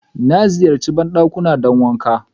Na ziyarche bandakin don wanƙa